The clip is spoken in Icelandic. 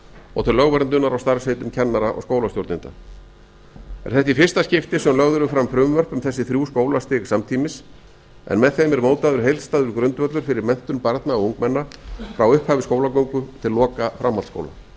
og til lögverndunar á starfsheitum kennara og skólastjórnenda er þetta í fyrsta skipti sem lögð eru fram frumvörp um þessi þrjú skólastig samtímis en með þeim er mótaður heildstæður grundvöllur fyrir menntun barna og ungmenna frá upphafi skólagöngu til loka framhaldsskóla